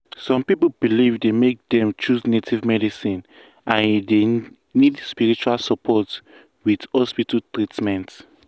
some people belief dey make dem choose native medicine and e dey need spiritual support with hospital treatment.